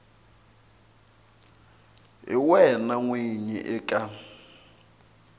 hi wena n winyi eka